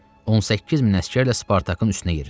18 min əsgərlə Spartakın üstünə yeridi.